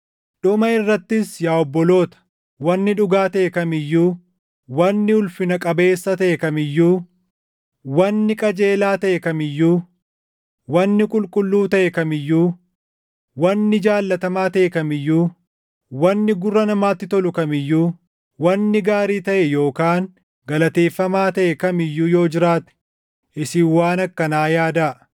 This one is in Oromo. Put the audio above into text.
Dhuma irrattis yaa obboloota, wanni dhugaa taʼe kam iyyuu, wanni ulfina qabeessa taʼe kam iyyuu, wanni qajeelaa taʼe kam iyyuu, wanni qulqulluu taʼe kam iyyuu, wanni jaallatamaa taʼe kam iyyuu, wanni gurra namaatti tolu kam iyyuu, wanni gaarii taʼe yookaan galateeffamaa taʼe kam iyyuu yoo jiraate isin waan akkanaa yaadaa.